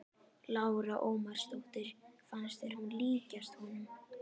Lára Ómarsdóttir: Fannst þér hún líkjast honum?